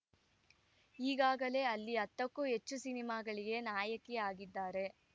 ಈಗಾಗಲೇ ಅಲ್ಲಿ ಹತ್ತಕ್ಕೂ ಹೆಚ್ಚು ಸಿನಿಮಾಗಳಿಗೆ ನಾಯಕಿ ಆಗಿದ್ದಾರೆ